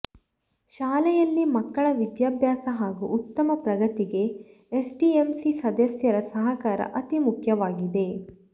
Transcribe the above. ಶಾಲೆಯಲ್ಲಿ ಮಕ್ಕಳ ವಿದ್ಯಾಭ್ಯಾಸ ಹಾಗೂ ಉತ್ತಮ ಪ್ರಗತಿಗೆ ಎಸ್ಡಿಎಂಸಿ ಸದಸ್ಯರ ಸಹಕಾರ ಅತಿ ಮುಖ್ಯವಾಗಿದೆ